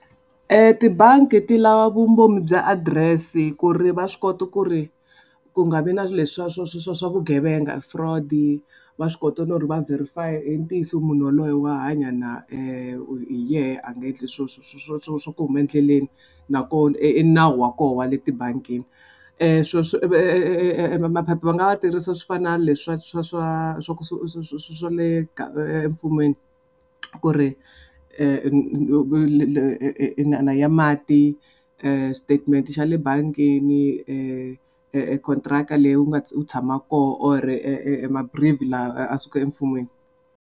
E tibangi ti lava vumbhoni bya adirese ku ri va swi kota ku ri ku nga vi na leswi swa swa swa swa vugevenga fraud va swi kota no va verify i ntiyiso munhu yaloye wa hanya na hi yehe a nga endli swo swo swo swo swo swa ku huma endleleni nakona i nawu wa koho wa le tibangini swilo swo maphepha va nga va tirhisa swi fana na le swa swa swa swa swa le emfumeni ku ri ya mati statement xa le bangini contractor leyi u nga u tshama koho or laha a suka emfumeni.